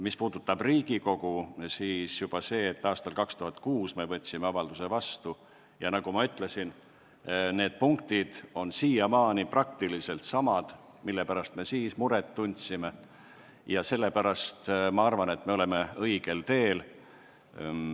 Mis puudutab Riigikogu, siis juba see, et võtsime 2006. aastal vastu avalduse – nagu ma ütlesin, on punktid, mille pärast me tollal muret tundsime, jäänud praktiliselt samaks –, näitab minu arvates, et oleme õigel teel.